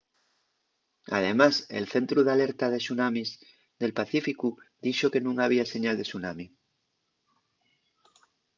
además el centru d’alerta de tsunamis del pacíficu dixo que nun había señal de tsunami